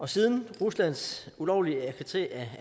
siden ruslands ulovlige